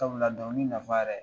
Sabula dɔnkili nafa yɛrɛ